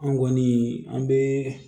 An kɔni an bɛ